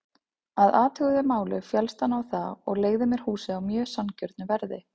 Að athuguðu máli féllst hann á það og leigði mér húsið á mjög sanngjörnu verði.